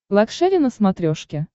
лакшери на смотрешке